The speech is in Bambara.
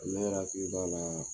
Ne yɛrɛ hakili b'a la